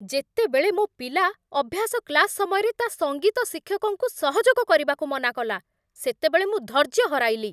ଯେତେବେଳେ ମୋ ପିଲା ଅଭ୍ୟାସ କ୍ଲାସ୍ ସମୟରେ ତା' ସଙ୍ଗୀତ ଶିକ୍ଷକଙ୍କୁ ସହଯୋଗ କରିବାକୁ ମନା କଲା, ସେତେବେଳେ ମୁଁ ଧୈର୍ଯ୍ୟ ହରାଇଲି।